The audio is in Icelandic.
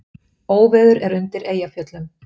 Óveður er undir Eyjafjöllum